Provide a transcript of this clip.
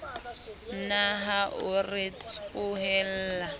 na ha o re tsohella